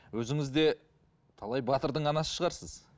өзіңіз де талай батырдың анасы шығарсыз